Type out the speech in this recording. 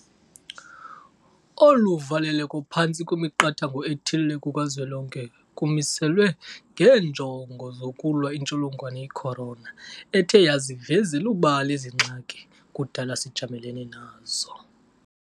Olu valeleko phantsi kwemiqathango ethile kukazwelonke kumiselwe ngeenjongo zokulwa intsholongwane i-corona ethe yaziveze elubala ezi ngxaki kudala sijamelene nazo.